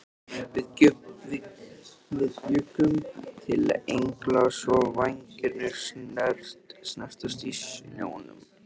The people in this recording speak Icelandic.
Við bjuggum til engla svo vængirnir snertust í snjónum.